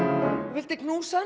viltu knúsa